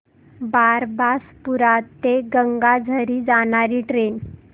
बारबासपुरा ते गंगाझरी जाणारी ट्रेन